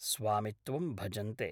स्वामित्वं भजन्ते।